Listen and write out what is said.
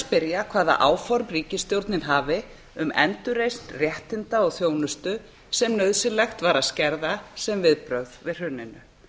spyrja hvaða áform ríkisstjórnin hafi um endurreisn réttinda og þjónustu sem nauðsynlegt var að skerða sem viðbrögð við hruninu